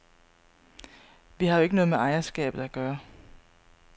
Vi har jo ikke noget med ejerskabet at gøre.